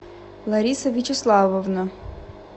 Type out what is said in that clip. лариса вячеславовна